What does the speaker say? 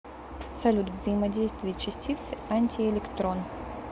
салют взаимодействие частицы антиэлектрон